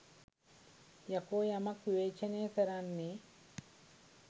යකෝ යමක් විවේචනය කරන්නේ